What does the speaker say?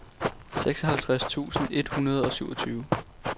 seksoghalvtreds tusind et hundrede og syvogtyve